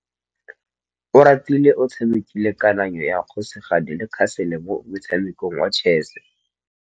Oratile o tshamekile kananyô ya kgosigadi le khasêlê mo motshamekong wa chess.